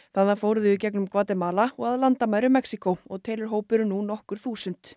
þaðan fóru þau í gegnum Gvatemala og að landamærum Mexíkó og telur hópurinn nú nokkur þúsund